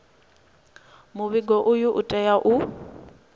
muvhigo uyu u tea u